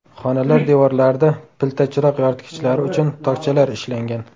Xonalar devorlarida pilta chiroq yoritgichlari uchun tokchalar ishlangan.